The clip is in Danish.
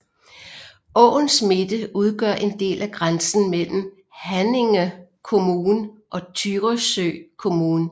Åens midte udgør en del af grænsen mellem Haninge kommun og Tyresö kommun